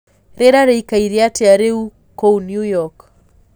rĩera rĩĩkaĩre atĩa rĩu kuũ new york